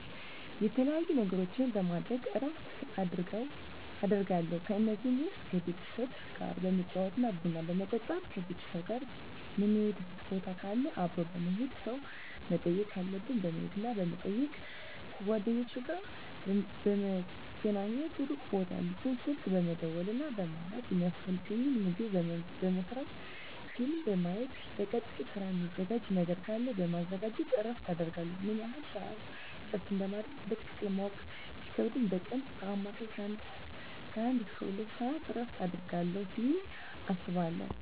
የተለያዩ ነገሮችን በማድረግ እረፍት አደርጋለሁ ከነዚህም ውስጥ ከቤተሰብ ጋር በመጫወት ቡና በመጠጣት ከቤተሰብ ጋር ምንሄድበት ቦታ ካለ አብሮ በመሄድ ሰው መጠየቅ ካለብን በመሄድና በመጠየቅ ከጓደኞቼ ጋር በመገናኘትና ሩቅ ቦታ ያሉትን ስልክ በመደወልና በማውራት የሚያስፈልገኝን ምግብ በመስራት ፊልም በማየት ለቀጣይ ስራ ሚዘጋጅ ነገር ካለ በማዘጋጀት እረፍት አደርጋለሁ። ምን ያህል ስዓት እረፍት እንደማደርግ በትክክል ማወቅ ቢከብድም በቀን በአማካኝ ከአንድ እስከ ሁለት ሰዓት እረፍት አደርጋለሁ ብየ አስባለሁ።